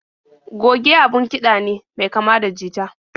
Goge abun kiɗa ne mai kama da jita.